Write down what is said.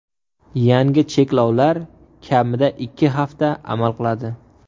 Yangi cheklovlar kamida ikki hafta amal qiladi.